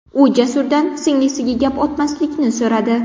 U Jasurdan singlisiga gap otmaslikni so‘radi.